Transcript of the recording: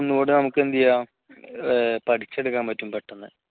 ഒന്നൂടെ നമുക്ക് എന്ത് ചെയ്യാം പഠിച്ചെടുക്കാൻ പറ്റും പെട്ടെന്ന്